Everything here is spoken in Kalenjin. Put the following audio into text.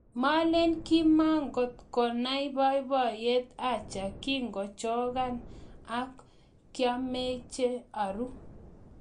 Melen kimatikokona babaiyet acha kikaachokan ak kiameche aru.